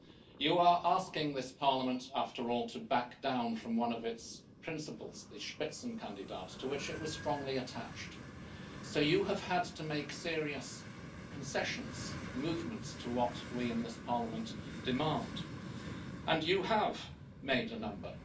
You are asking this Parliament, after all, to back down from one of its principles the spitzenkandidat to which it was strongly attached, so you have had to make serious concessions, movements to what we in this Parliament demand, and you have made a number.